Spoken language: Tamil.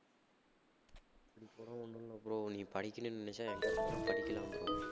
அப்படி போனா ஒண்ணுமில்ல bro நீ படிக்கணும்னு நினைச்சா எங்க இருந்தாலும் படிக்கலாம் bro